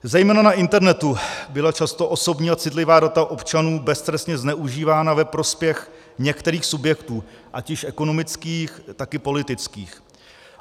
Zejména na internetu byla často osobní a citlivá data občanů beztrestně zneužívána ve prospěch některých subjektů, ať již ekonomických, tak i politických.